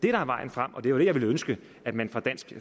er vejen frem og det var det jeg ville ønske at man fra dansk